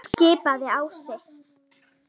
skipaði Ási.